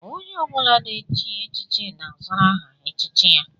Onye ọ bụla na-echi echichi na-azara aha echichi ya